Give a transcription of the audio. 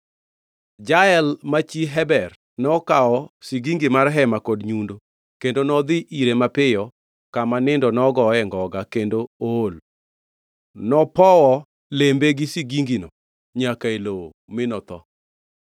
Jael, ma chi Heber, nokawo sigingi mar hema kod nyundo kendo nodhi ire mapiyo kama nindo nogoye ngoga, kendo ool. Nopowo iye gi sigingino nyaka e lowo, mi otho.